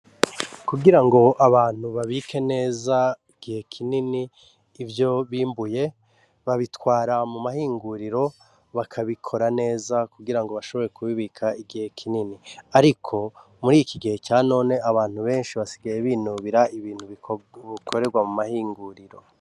Kugirango abantu babike neza igihe kinini ivyo bimbuye babitwara mu mahinguriro bakabikora neza kugira bashobore kubibika igihe kinini, ariko muriki gihe ca none abantu benshi basigaye binubira ibintu bikorerwayo.